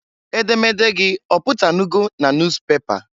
Edemede gị ọpụtanụgo na nus pepa?